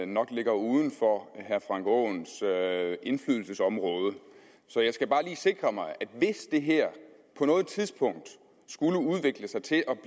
nok ligger uden for herre frank aaens indflydelsesområde så jeg skal bare lige sikre mig at hvis det her på noget tidspunkt skulle udvikle sig til at